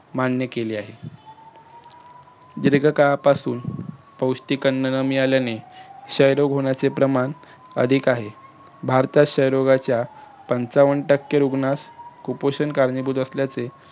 मान्य केले आहे दिर्घकाळापासून पौष्टिक अन्न न मिळाल्याने क्षयरोग होण्याचे प्रमाण अधिक आहे. भारतात क्षयरोगाच्या पंचावन्न टक्के रुग्णास कुपोषण कारणीभूत असल्याचे